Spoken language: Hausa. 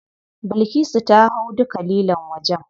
Bilkisu ta hau duka lilon wajen.